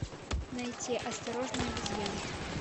найти осторожно обезьянки